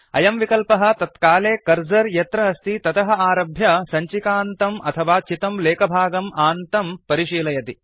अयं विकल्पः तत्काले कर्सर यत्र अस्ति ततः आरभ्य सञ्चिकान्तम् अथवा चितं लेखभागम् आन्तं परिशीलयति